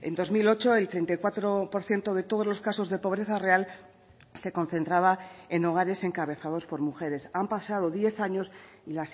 dos mil ocho el treinta y cuatro por ciento de todos los casos de pobreza real se concentraba en hogares encabezados por mujeres han pasado diez años y